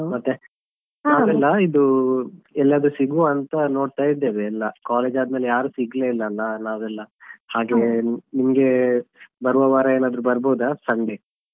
ಮತ್ತೆ ನ~ ಇದು ಎಲ್ಲಾದ್ರೂ ಸಿಗುವ ಅಂತಾ ನೋಡ್ತಾ ಇದ್ದೇವೆ ಎಲ್ಲಾ college ಆದ್ಮೇಲೆ ಯಾರು ಸಿಗ್ಲೇ ಇಲ್ಲಲ್ಲ ನಾವೆಲ್ಲಾ ಹಾಗೆ ನಿಮ್ಗೆ ಬರುವವಾರ ಏನಾದ್ರೂ ಬರ್ಬೋದಾ Sunday .